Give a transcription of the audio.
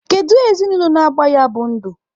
Kedu ezinụlọ na-agba ya bụ ndụ?